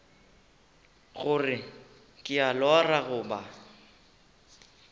gore ke a lora goba